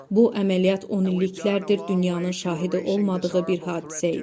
Bu əməliyyat onilliklərdir dünyanın şahidi olmadığı bir hadisə idi.